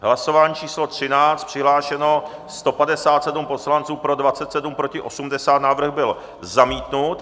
Hlasování číslo 13, přihlášeno 157 poslanců, pro 27, proti 80, návrh byl zamítnut.